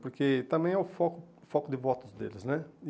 Porque também é o foco o foco de votos deles, né?